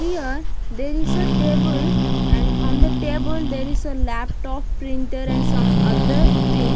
here there is a table and on the table there is a laptop printer and some other thing.